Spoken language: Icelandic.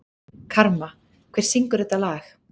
Karma, hver syngur þetta lag?